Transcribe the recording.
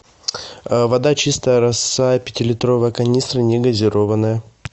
вода чистая роса пятилитровая канистра негазированная